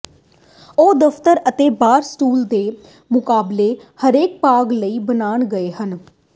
ਉਹ ਦਫਤਰ ਅਤੇ ਬਾਰ ਸਟੂਲ ਦੇ ਮੁਕਾਬਲੇ ਹਲਕੇ ਭਾਰ ਲਈ ਬਣਾਏ ਗਏ ਹਨ